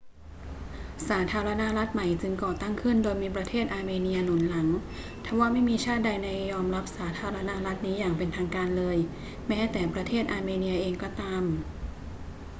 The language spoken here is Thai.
สาธารณรัฐใหม่จึงก่อตั้งขึ้นโดยมีประเทศอาร์เมเนียหนุนหลัง ทว่าไม่มีชาติใดยอมรับสาธารณรัฐนี้อย่างเป็นทางการเลย แม้แต่ประเทศอาร์เมเนียเองก็ตาม